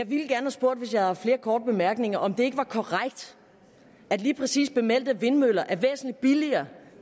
hvis jeg havde haft flere korte bemærkninger om det ikke var korrekt at lige præcis bemeldte vindmøller er væsentlig billigere